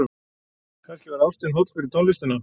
Kannski var ástin holl fyrir tónlistina.